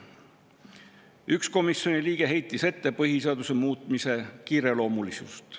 Üks komisjoni liige heitis ette põhiseaduse muutmise kiireloomulisust.